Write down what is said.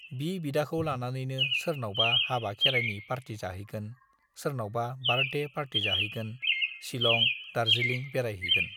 बि बिदाखौ लानानैनो सोरनावबा हाबा खेरायनि पार्टि जाहैगोन, सोरनावबा बार्थडे पार्टि जाहैगोन, शिलं, दार्जिलिं बेरायहैगोन।